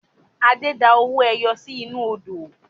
Adé da owó ẹyọ sì inú Odò